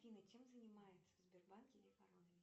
афина чем занимается в сбербанке лев аронович